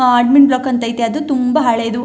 ಆ admin block ಅಂತ ಐತೆ ಅದು ತುಂಬಾ ಹಳೇದು.